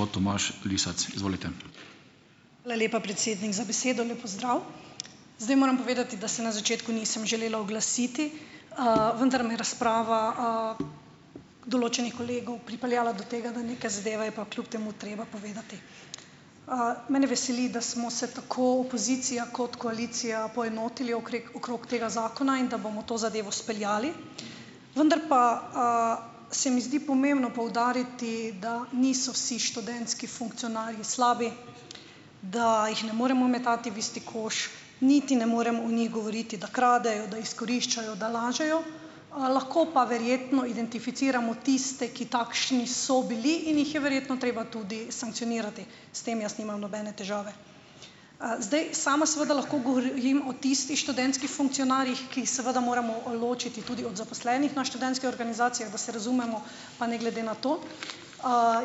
Hvala lepa, predsednik za besedo. Lep pozdrav. zdaj moram povedati, da se na začetku nisem želela oglasiti, vendar me je razprava, določenih kolegov pripeljala do tega, da neke zadeve je pa kljub temu treba povedati. Mene veseli, da smo se tako opozicija kot koalicija poenotili okreg okrog tega zakona in da bomo to zadevo speljali. Vendar pa, se mi zdi pomembno poudariti, da niso vsi študentski funkcionarji slabi, da jih ne moremo metati v isti koš, niti ne morem o njih govoriti, da kradejo, da izkoriščajo, da lažejo. Lahko pa verjetno identificiramo tiste, ki takšni so bili in jih je verjetno treba tudi sankcionirati. S tem jaz nimam nobene težave. Zdaj, sama seveda lahko govorim o tistih študentskih funkcionarjih, ki jih seveda moramo ločiti tudi od zaposlenih na študentskih organizacijah, da se razumemo, pa ne glede na to.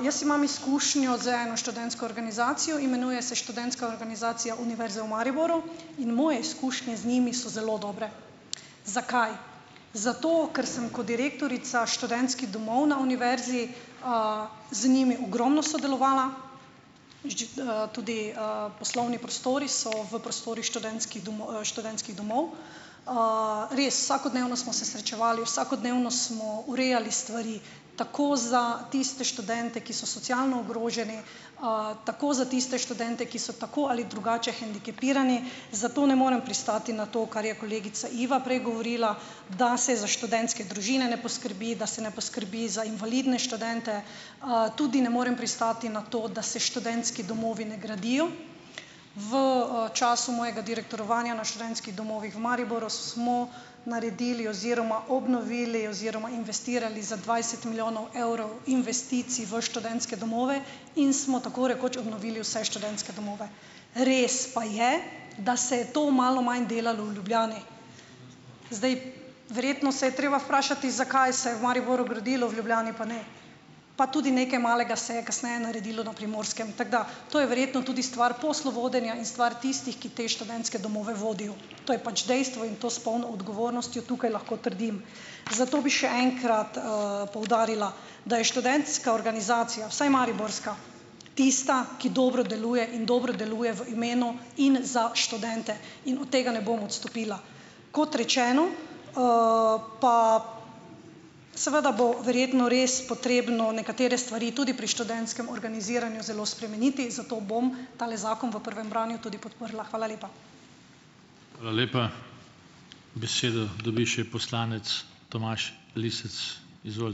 Jaz imam izkušnjo z eno študentsko organizacijo. Imenuje se Študentska organizacija Univerze v Mariboru. In moje izkušnje z njimi so zelo dobre. Zakaj? Zato, ker sem kot direktorica Študentskih domov na univerzi, z njimi ogromno sodelovala, in tudi, poslovni prostori so v prostorih študentskih študentskih domov. Res, vsakodnevno smo se srečevali, vsakodnevno smo urejali stvari, tako za tiste študente, ki so socialno ogroženi, tako za tiste študente, ki so tako ali drugače hendikepirani, zato ne morem pristati na to, kar je kolegica Iva prej govorila, da se za študentske družine ne poskrbi, da se ne poskrbi za invalidne študente, tudi ne morem pristati na to, da se študentski domovi ne gradijo. V, času mojega direktorovanja na študentskih domovih v Mariboru smo naredili oziroma obnovili oziroma investirali za dvajset milijonov evrov investicij v študentske domove in smo tako rekoč obnovili vse študentske domove. Res pa je, da se je to malo manj delalo v Ljubljani. Zdaj, verjetno se je treba vprašati, zakaj se je v Mariboru gradilo, v Ljubljani pa ne. Pa tudi nekaj malega se je kasneje naredilo na Primorskem, tako da to je verjetno tudi stvar poslovodenja in stvar tistih, ki te študentske domove vodijo. To je pač dejstvo in to s polno odgovornostjo tukaj lahko trdim. Zato bi še enkrat, poudarila, da je študentska organizacija, vsaj mariborska, tista, ki dobro deluje in dobro deluje v imenu in za študente in od tega ne bom odstopila. Kot rečeno, pa seveda bo verjetno res potrebno nekatere stvari tudi pri študentskem organiziranju zelo spremeniti, zato bom tale zakon po prvem branju tudi podprla. Hvala lepa.